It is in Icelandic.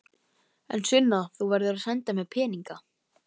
En Sunna, þú verður að senda mér peninga.